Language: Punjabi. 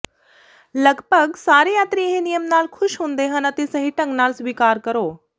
ਲਗਭਗ ਸਾਰੇ ਯਾਤਰੀ ਇਹ ਨਿਯਮ ਨਾਲ ਖੁਸ਼ ਹੁੰਦੇ ਹਨ ਅਤੇ ਸਹੀ ਢੰਗ ਨਾਲ ਸਵੀਕਾਰ ਕਰੋ